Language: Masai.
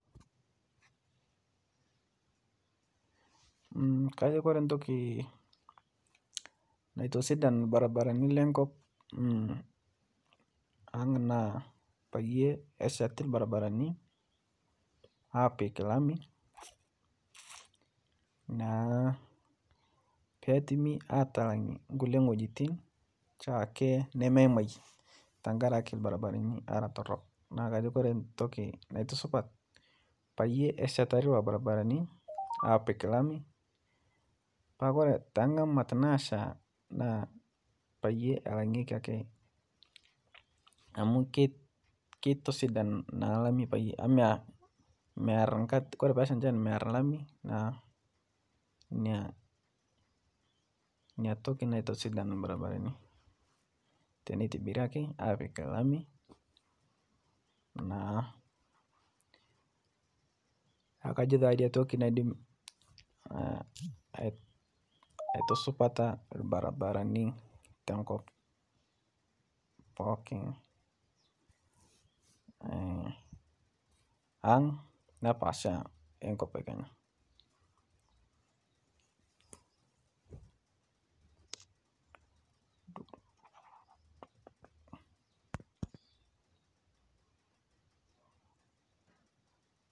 Kajo Kore ntokii natosidan lbarbarani lenkop aang naa payie eshet lbarbarani apik lami petumi atalang'e nkule ng'ojitin shaake nemeimai tankaraki lbarbarani ara torok naaku kajo Kore ntoki naitusupat payie ashetari lolo lbarbarani apik lami petaa Kore tenga'amat naasha naa payie alang'eki ake amu ketosidan na lami amu mear Kore peshaa nchan mear lami naa nia toki natosidan lbarbarani teneitibiri ake apik lami naa kajo niatoki naidim aitusupata lbarbarani te nkop pooki ang nepaasha nkop Kenya.